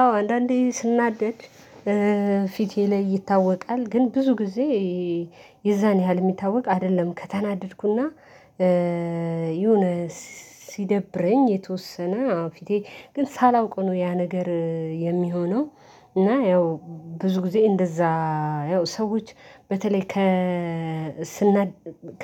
አዎ አንዳንዴ ስናደድ ፊቴ ላይ ይታወቃል ግን ብዙ ጊዜ የዛን ያህል የሚታወቅ አይደለም። ከተናደድኩና ይሁን ሲደብረኝ የተወሰነ አዎ ፊቴ ግን ሳላውቅ ነው ያ ነገር የሚሆነው። እና ያው ብዙ ጊዜ እንደዛ ያው ሰዎች በተለይ ከስናደድ